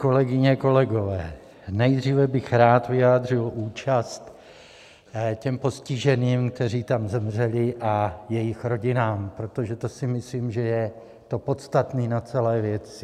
Kolegyně, kolegové, nejdříve bych rád vyjádřil účast těm postiženým, kteří tam zemřeli, a jejich rodinám, protože to si myslím, že je to podstatné na celé věci.